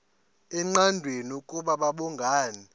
engqanweni ukuba babhungani